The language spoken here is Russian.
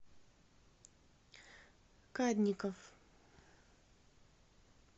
кадников